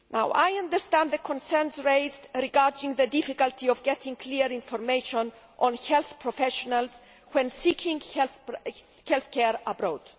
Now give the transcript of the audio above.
I understand the concerns raised regarding the difficulty of getting clear information on health professionals when seeking health care abroad.